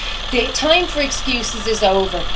The time for excuses is over.